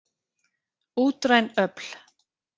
Útræn öfl.